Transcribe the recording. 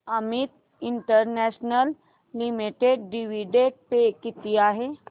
Amit international limited dividend pay किती आहे